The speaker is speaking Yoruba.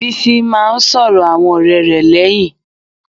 Bísí máá ń sọ̀rọ̀ àwọn ọ̀rẹ́ rẹ̀ lẹ́yìn.